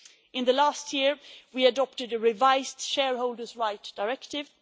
In the last year we adopted a revised shareholders' right directive.